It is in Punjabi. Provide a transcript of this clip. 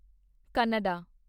ਕੰਨੜਾ